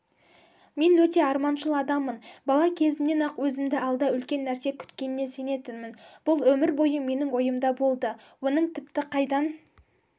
мен өте арманшыл адаммын бала кезімнен-ақ өзімді алда үлкен нәрсе күтетініне сенетінмін бұл өмір бойы менің ойымда болды оның тіпті қайдан